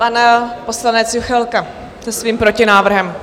Pan poslanec Juchelka se svým protinávrhem.